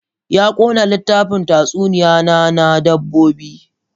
Ya ƙone littafin tatsuniya na, na dabbobi.